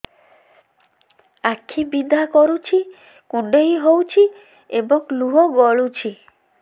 ଆଖି ବିନ୍ଧା କରୁଛି କୁଣ୍ଡେଇ ହେଉଛି ଏବଂ ଲୁହ ଗଳୁଛି